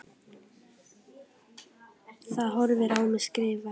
Það horfir á mig skrifa.